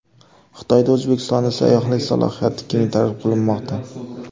Xitoyda O‘zbekistonning sayyohlik salohiyati keng targ‘ib qilinmoqda.